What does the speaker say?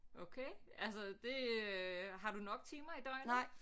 Okay altså det øh har du nok timer i døgnet